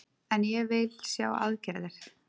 En ég vil sjá aðgerðir